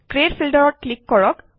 create Folder অত click কৰক